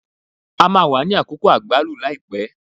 A máa wà ní Àkókò àgbálù ní àìpẹ́.